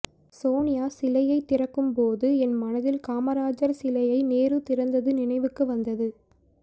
சோனியா சிலையை திறக்கும் போது என் மனதில் காமராஜர் சிலையை நேரு திறந்தது நினைவுக்கு வந்தது